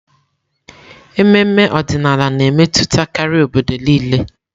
Ememe ọdịnala na-emetụtakarị obodo niile.